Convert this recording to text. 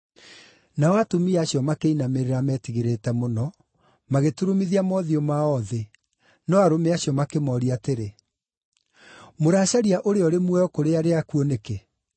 Nao atumia acio metigĩrĩte mũno, makĩinamĩrĩra, magĩturumithia mothiũ mao thĩ, no arũme acio makĩmooria atĩrĩ, “Mũracaria ũrĩa ũrĩ muoyo kũrĩ arĩa akuũ nĩkĩ?